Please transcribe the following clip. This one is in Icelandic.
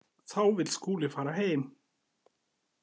Þá vill Skúli fara heim.